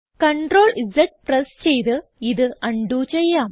CTRL Z press ചെയ്ത് ഇത് undo ചെയ്യാം